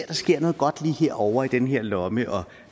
der sker noget godt lige her ovre i den her lomme og